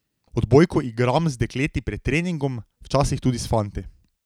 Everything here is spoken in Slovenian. Odbojko igram z dekleti pred treningom, včasih tudi s fanti.